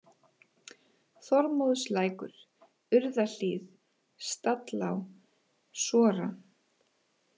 Þormóðslækur, Urðahlíð, Stallá, Sora